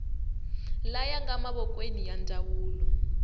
laya nga mavokweni ya ndzawulo